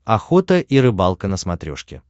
охота и рыбалка на смотрешке